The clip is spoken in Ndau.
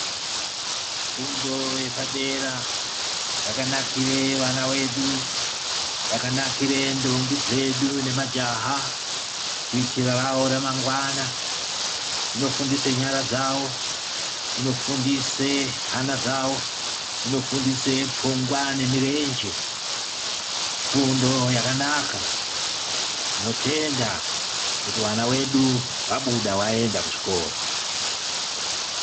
Fundo yepadera yakanakire vana vedu. Yakanakire ndombi dzedu nemajaha kuitire ravo ramangwana. Inofundise nyara dzavo, inofundise hana dzavo, inofundise pfungwa nemirenje. Ifundo yakanaka. Tinotenda kuti vana vedu vabuda vaenda kuzvikora.